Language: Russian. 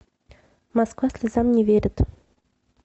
москва слезам не верит